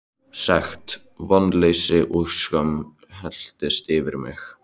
Sekt, vonleysi og skömm helltist yfir mig.